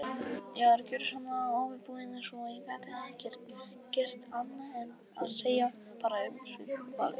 Ég var gjörsamlega óviðbúinn, svo ég gat ekkert gert annað en að segja bara umsvifalaust